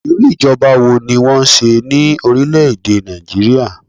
Irú ìjọba wo ni wọn n ṣe ní orílè èdè Nàìjíríà?